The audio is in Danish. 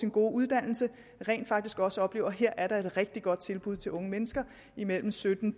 gode uddannelse rent faktisk også oplever at her er der et rigtig godt tilbud til unge mennesker imellem sytten